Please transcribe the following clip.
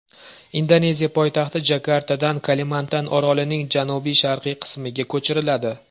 Indoneziya poytaxti Jakartadan Kalimantan orolining janubi-sharqiy qismiga ko‘chiriladi.